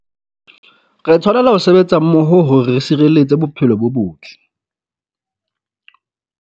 Re tshwanela ho sebetsa mmoho hore re sireletse bophelo bo botle.